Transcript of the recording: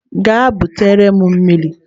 Gaa butere m mmiri!